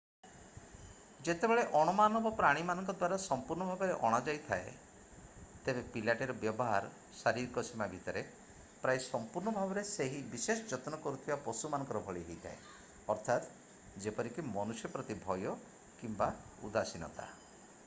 ଯେତେବେଳେ ଅଣ-ମାନବ ପ୍ରାଣୀମାନଙ୍କ ଦ୍ଵାରା ସମ୍ପୁର୍ଣ୍ଣ ଭାବରେ ଅଣାଯାଇଥାଏ ତେବେ ପିଲାଟିର ବ୍ୟବହାର ଶାରୀରିକ ସୀମା ଭିତରେ ପ୍ରାୟ ସଂପୂର୍ଣ୍ଣ ଭାବରେ ସେହି ବିଶେଷ ଯତ୍ନ କରୁଥିବା ପଶୁ ମାନଙ୍କ ଭଳି ହୋଇଥାଏ ଅର୍ଥାତ ଯେପରିକି ମନୁଷ୍ୟ ପ୍ରତି ଭୟ କିମ୍ବା ଉଦାସୀନତା।